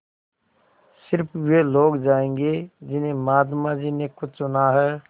स़िर्फ वे लोग जायेंगे जिन्हें महात्मा जी ने खुद चुना है